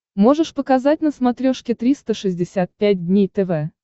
можешь показать на смотрешке триста шестьдесят пять дней тв